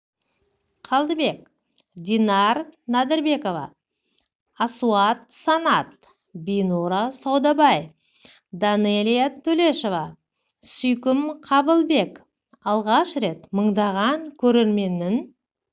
қалдыбек динар нәдірбекова асуат санат бинура саудабай данэлия төлешова сүйкім қабылбек алғаш рет мыңдаған көрерменнің